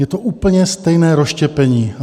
Je to úplně stejné rozštěpení.